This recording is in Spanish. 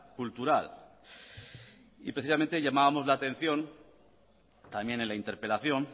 cultural y precisamente llamábamos la atención también en la interpelación